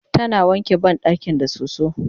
tana wanke banɗakin da soso